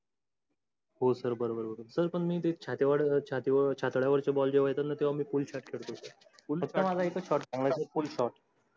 हो sir बर बर. sir पण मी ते छात्या वर, छाती वर छातद्या वरच्या ball जेव्हा येतात ना तेव्हा मी full shot खेळतो.